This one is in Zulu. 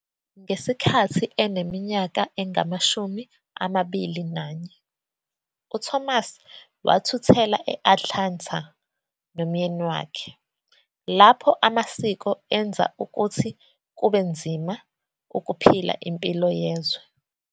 Ngesikhathi eneminyaka engamashumi amabili nanye, uThomas wathuthela e- Atlanta nomyeni wakhe, lapho amasiko enza ukuthi kube nzima ukuphila impilo yezwe.